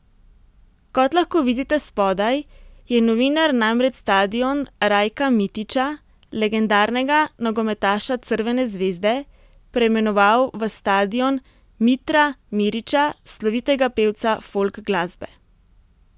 Kot lahko vidite spodaj, je novinar namreč stadion Rajka Mitića, legendarnega nogometaša Crvene zvezde, preimenoval v stadion Mitra Mirića, slovitega pevca folk glasbe.